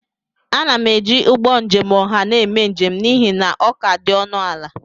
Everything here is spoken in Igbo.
Ana m eji ụgbọ njem ọha na-eme njem n'ihi na ọ ka dị ọnụ ala